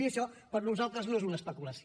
i això per nosaltres no és una especulació